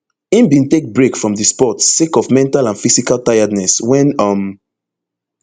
im bin take break from di sport sake of mental and physical tiredness wen um